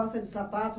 Gosta de sapato